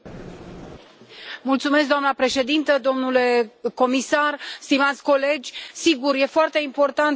Doamna președintă, domnule comisar, stimați colegi, sigur, e foarte importantă întâlnirea Consiliului.